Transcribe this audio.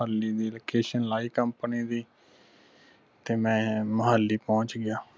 ਮੁਹਾਲੀ ਦੀ location ਲਗਾਈ company ਦੀ ਮੈਂ ਮੁਹਾਲੀ ਪਹੁੰਚ ਗਿਆ